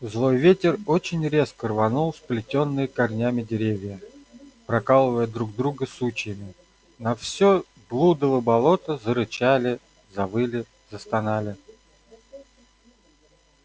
злой ветер очень резко рванул сплетённые корнями деревья прокалывая друг друга сучьями на всё блудово болото зарычали завыли застонали